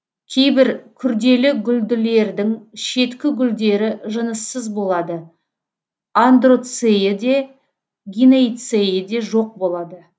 кейбір күрделігүлділердің шеткігүлдері жыныссыз болады андроцейі де гинейцейі де жоқ болады